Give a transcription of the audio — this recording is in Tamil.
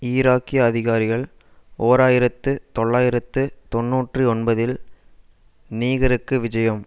ஈராக்கிய அதிகாரிகள் ஓர் ஆயிரத்து தொள்ளாயிரத்து தொன்னூற்று ஒன்பதில் நீகருக்கு விஜயம்